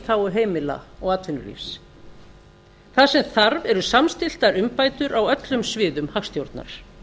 þágu heimila og atvinnulífsins það sem þarf eru samstilltar umbætur á öllum sviðum hagstjórnar